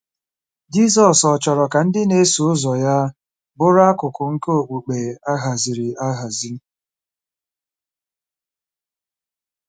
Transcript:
Jizọs ọ̀ chọrọ ka ndị na-eso ụzọ ya bụrụ akụkụ nke okpukpe a haziri ahazi?